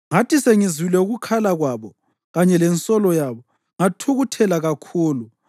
Ngathi sengizwile ukukhala kwabo kanye lensolo yabo, ngathukuthela kakhulu.